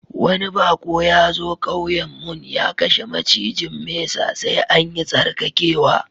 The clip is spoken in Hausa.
Wani bako ya zo ƙauyen mun, ya kashe macijin mesa, sai an yi tsarkakewa.